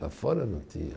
Lá fora não tinha.